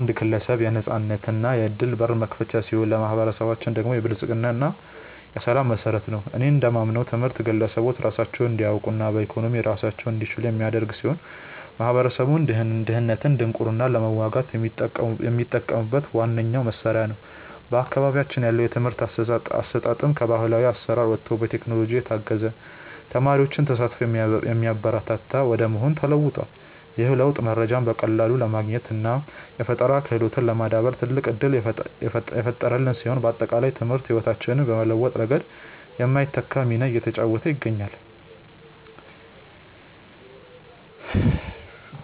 ትምህርት ለአንድ ግለሰብ የነፃነትና የዕድል በር መክፈቻ ሲሆን፣ ለማኅበረሰባችን ደግሞ የብልጽግና እና የሰላም መሠረት ነው። እኔ እንደማምነው ትምህርት ግለሰቦች ራሳቸውን እንዲያውቁና በኢኮኖሚ ራሳቸውን እንዲችሉ የሚያደርግ ሲሆን፣ ማኅበረሰቡም ድህነትንና ድንቁርናን ለመዋጋት የሚጠቀምበት ዋነኛው መሣሪያ ነው። በአካባቢያችን ያለው የትምህርት አሰጣጥም ከባሕላዊ አሠራር ወጥቶ በቴክኖሎጂ የታገዘና የተማሪዎችን ተሳትፎ የሚያበረታታ ወደ መሆን ተለውጧል። ይህ ለውጥ መረጃን በቀላሉ ለማግኘትና የፈጠራ ክህሎትን ለማዳበር ትልቅ ዕድል የፈጠረልን ሲሆን፣ ባጠቃላይ ትምህርት ሕይወታችንን በመለወጥ ረገድ የማይተካ ሚና እየተጫወተ ይገኛል።